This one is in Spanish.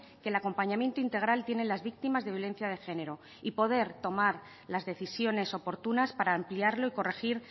que el acompañamiento integral tiene en las víctimas de violencia de género y poder tomar las decisiones oportunas para ampliarlo y corregir